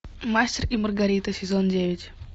мастер и маргарита сезон девять